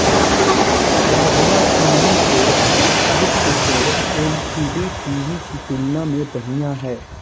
plasma TV के दृश्यकोण LCD TV की तुलना में बढ़िया हैं